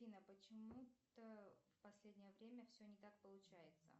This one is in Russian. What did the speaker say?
афина почему то в последнее время все не так получается